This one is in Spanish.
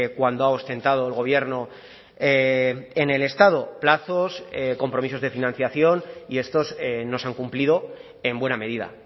cuando ha ostentado el gobierno en el estado plazos compromisos de financiación y estos no se han cumplido en buena medida